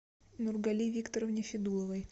нургали викторовне федуловой